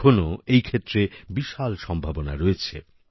এখনো এই ক্ষেত্রে বিশাল সম্ভাবনা রয়েছে